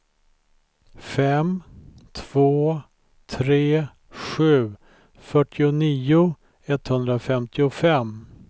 fem två tre sju fyrtionio etthundrafemtiofem